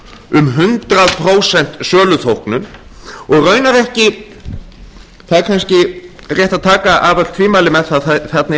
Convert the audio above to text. um hundrað prósent söluþóknun það er kannski rétt að taka af öll tvímæli með á að þarna